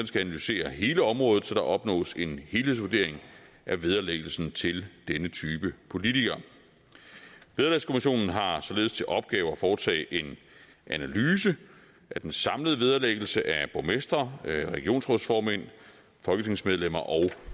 skal analysere hele området så der opnås en helhedsvurdering af vederlæggelsen til denne type politikere vederlagskommissionen har således til opgave at foretage en analyse af den samlede vederlæggelse af borgmestre regionsrådsformænd folketingsmedlemmer og